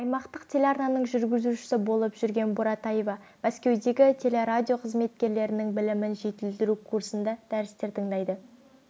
аймақтық телеарнаның жүргізушісі болып жүрген буратаева мәскеудегі телерадио қызметкерлерінің білімін жетілдіру курсында дәрістер тыңдайды